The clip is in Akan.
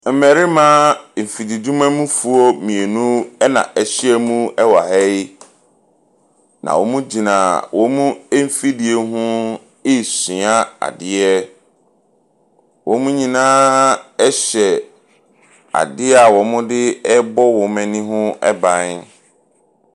Mmarima afididwumamufoɔ mmienu na ahyia mu wɔ ha yi, na wɔgyina wɔn mfidie ho ɛresua adeɛ. Wɔn nyinaa hyɛ adeɛ a wɔde bɔ wɔn anim ban.